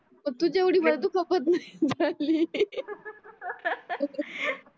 पण तुझ्या येवडी मारदुखापत हे नाही झाली